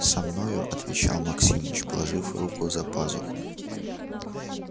со мною отвечал максимыч положив руку за пазуху